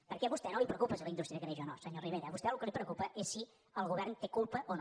perquè a vostè no el preocupa si la indústria creix o no senyor rivera a vostè el que el preocupa és si el govern en té culpa o no